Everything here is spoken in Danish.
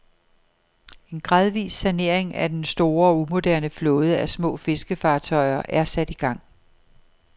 En gradvis sanering af den store og umoderne flåde af små fiskefartøjer er sat i gang.